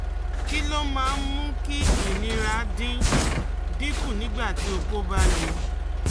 Kí ló máa ń mú kí ìnira dín dín kù nígbà tí oko ba le